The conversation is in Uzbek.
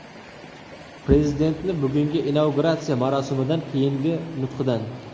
Prezidentni bugungi inauguratsiya marosimidan keyingi nutqidan.